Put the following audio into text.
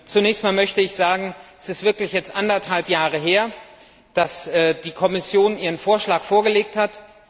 Zunächst einmal möchte ich sagen, es ist jetzt wirklich anderthalb Jahre her, dass die Kommission ihren Vorschlag vorgelegt hat.